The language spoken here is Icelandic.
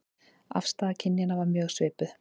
Afstaða kynjanna var mjög svipuð